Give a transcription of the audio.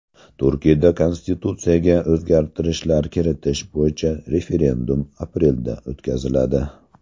Turkiyada konstitutsiyaga o‘zgartirishlar kiritish bo‘yicha referendum aprelda o‘tkaziladi.